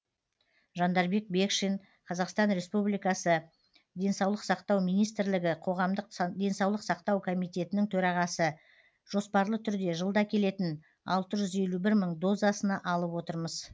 жандарбек бекшин қазақстан республикасы денсаулық сақтау министрлігі қоғамдық денсаулық сақтау комитетінің төрағасы жоспарлы түрде жылда келетін алты жүз елу бір мың дозасына алып отырмыз